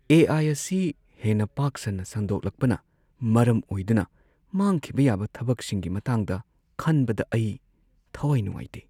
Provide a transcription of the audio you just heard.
ꯑꯦ. I. ꯑꯁꯤ ꯍꯦꯟꯅ ꯄꯥꯛ-ꯁꯟꯅ ꯁꯟꯗꯣꯛꯂꯛꯄꯅ ꯃꯔꯝ ꯑꯣꯏꯗꯨꯅ ꯃꯥꯡꯈꯤꯕ ꯌꯥꯕ ꯊꯕꯛꯁꯤꯡꯒꯤ ꯃꯇꯥꯡꯗ ꯈꯟꯕꯗ ꯑꯩ ꯊꯋꯥꯏ ꯅꯨꯡꯉꯥꯏꯇꯦ꯫